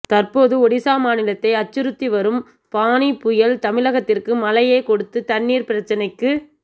தற்போது ஒடிசா மாநிலத்தை அச்சுறுத்தி வரும் ஃபானி புயல் தமிழகத்திற்கு மழையை கொடுத்து தண்ணீர் பிரச்சனைக்கு